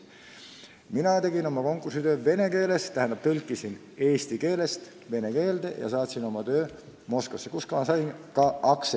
Mina tegin oma konkursitöö vene keeles, tähendab, tõlkisin selle eesti keelest vene keelde ja saatsin oma töö Moskvasse, kus ma sain ka aktsepti.